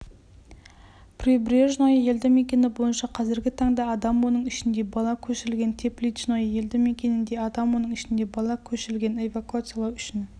прибрежное елді мекені бойынша қазіргі таңда адам оның ішінде бала көшірілген тепличное елді мекенінде адам оның ішінде бала көшірілген эвакуациялау үшін